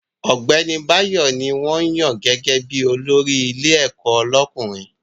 Ọ̀gbẹ́ni Báyọ̀ ní wọ́n yàn gẹ́gẹ́ bí olórí ilé ẹ̀kọ́ lọ́kùnrin